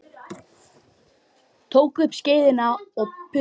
Því fleira fólk, því styttri nöfn.